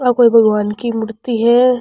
आ कोई भगवन की मूर्ति है।